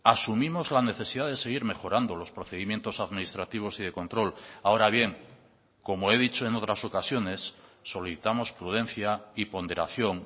asumimos la necesidad de seguir mejorando los procedimientos administrativos y de control ahora bien como he dicho en otras ocasiones solicitamos prudencia y ponderación